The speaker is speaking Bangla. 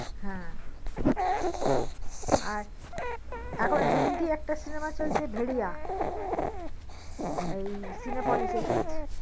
হ্যা আর এখন হিন্দি একটা সিনেমা চলছে ভেরিয়া হ্যা Cinepolis এ চলছে